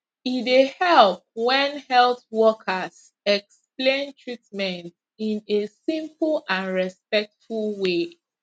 e dey help when health workers explain treatment in a simple and respectful way